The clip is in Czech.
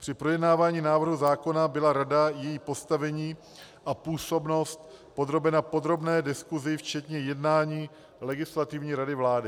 Při projednávání návrhu zákona byla rada i její postavení a působnost podrobena podrobné diskusi včetně jednání Legislativní rady vlády.